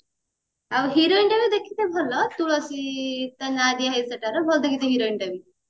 ଆଉ heroineଟା ବି ଦେଖିଥିବୁ ଭଲ ତୁଳସୀ ତା ନାଁ ଦିଆହେଇଛି ସେଇଟାରେ ଭଲ ଦିଖେ ସେ heroineଟା ବି